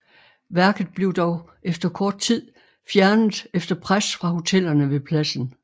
Værket blev dog efter kort tid fjernet efter pres fra hotellerne ved pladsen